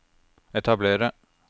etablere